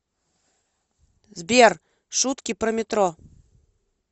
сбер шутки про метро